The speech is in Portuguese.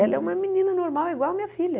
Ela é uma menina normal, igual a minha filha.